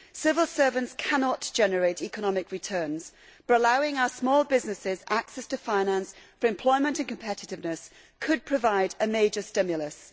Civil servants cannot generate economic returns, but allowing our small businesses access to finance for employment and competiveness could provide a major stimulus.